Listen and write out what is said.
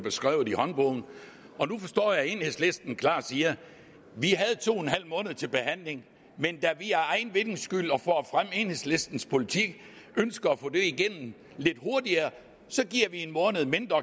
beskrevet i håndbogen nu forstår jeg at enhedslisten klart siger vi havde to en halv måned til behandling men da vi for egen vindings skyld og for at fremme enhedslistens politik ønsker at få det igennem lidt hurtigere så giver vi en måned mindre